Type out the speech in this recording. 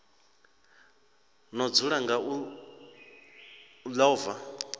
no dzula nga u ḽova